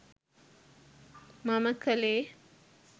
මම කළේ.